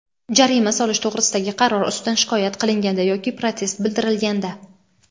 jarima solish to‘g‘risidagi qaror ustidan shikoyat qilinganda yoki protest bildirilganda;.